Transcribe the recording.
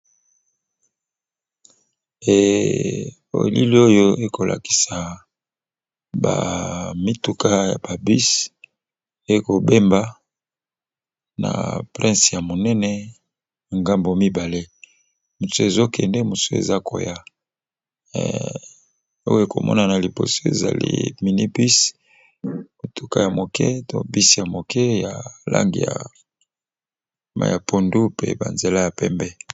Elili oyo ekolakisa bamituka ya babis ekobemba na prince ya monene ngambo mibale mot ezokende mosu eza koya oyo ekomona na liboso ezali minibusi mituka ya moke to bisi ya moke ya lange ya maya pondu mpe banzela ya pembe